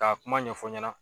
K'a kuma ɲɛfɔ ɲɛna.